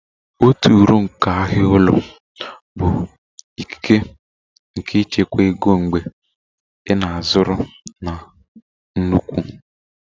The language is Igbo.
Otu uru nke ahịa ihe owuwu ụlọ bụ ikike nke ịchekwa ego mgbe ị na-azụrụ na nnukwu